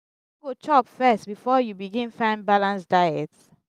you no go chop first before you begin find balanced diet?